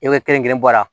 E bɛ kelen kelen bɔ a la